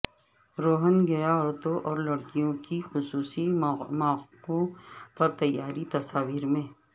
Rohingya عورتوں اور لڑکیوں کی خصوصی مواقعوں پر تیاریاں تصاویر میں